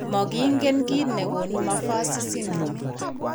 Magingen kit negonu Maffucci syndrome